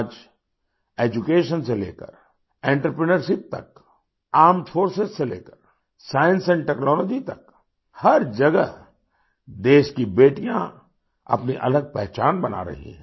आजEducation से लेकर आंत्रप्रिन्योरशिप तक आर्मेड फोर्सेस से लेकर साइंस टेक्नोलॉजी तक हर जगह देश की बेटियाँ अपनी अलग पहचान बना रही हैं